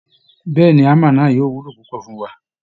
Bẹ́ẹ̀ ni, hammer náà yóò wúlò púpọ̀ fún wa